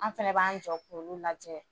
An fana b'an jɔ k'olu lajɛ